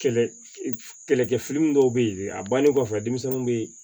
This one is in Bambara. Kɛlɛ kɛlɛkɛ fili min dɔw bɛ ye a bannen kɔfɛ denmisɛnninw bɛ